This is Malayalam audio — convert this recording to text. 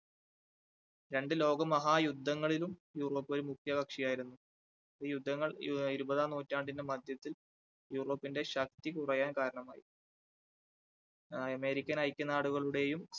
രണ്ട് ലോകമഹായുദ്ധങ്ങളിലും യൂറോപ്പ് ഒരു മുഖ്യ കക്ഷിയായിരുന്നു. യുദ്ധങ്ങൾ ഇരുപതാം നൂറ്റാണ്ടിന്റെ മധ്യത്തിൽ യൂറോപ്പിന്റെ ശക്തി കുറയാൻ കാരണമായി american ഐക്യനാടുകളുടെയും,